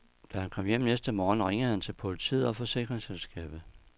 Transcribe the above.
Da han kom hjem næste morgen, ringede han til politiet og forsikringsselskabet.